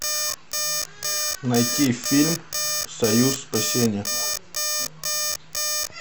найти фильм союз спасения